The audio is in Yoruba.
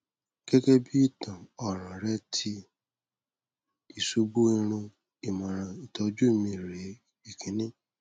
gẹ́gẹ́ bí ìtàn ọ̀ràn rẹ̀ ti ìṣubú irun ìmọ̀ràn ìtọ́jú mi re ìkíní